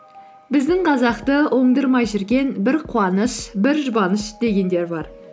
біздің қазақты оңдырмай жүрген бір қуаныш бір жұбаныш дегендер бар